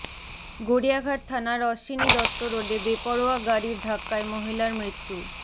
গড়িয়াহাট থানার অশ্বিনী দত্ত রোডে বেপরোয়া গাড়ির ধাক্কায় মহিলার মৃত্যু